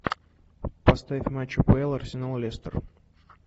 поставь матч апл арсенал лестер